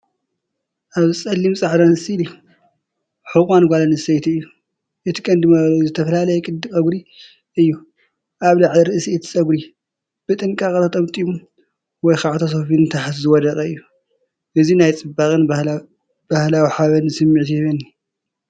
ኣብዚ ጸሊምን ጻዕዳን ስእሊ ሕቖን ጓል ኣንስተይቲ እዩ። እቲ ቀንዲ መለለዪኡ ዝተፈላለየ ቅዲ ጸጉሪ እዩ። ኣብ ላዕሊ ርእሲ እቲ ጸጉሪ ብጥንቃቐ ተጠምጢሙ/ተሰፊዩ ንታሕቲ ዝወደቀ እዩ። እዚ ናይ ጽባቐን ባህላዊ ሓበንን ስምዒት ይህበኒ።